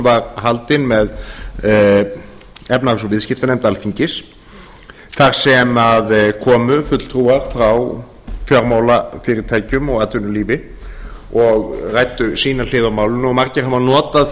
var haldinn með efnahags og viðskiptanefnd alþingis þar sem komu fulltrúar frá fjármálafyrirtækjum og atvinnulífi og ræddu sína hlið á málinu og margir hafa notað